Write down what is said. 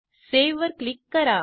save वर click करा